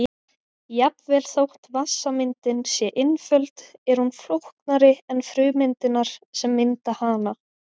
Jafnvel þótt vatnssameindin sé einföld er hún flóknari en frumeindirnar sem mynda hana.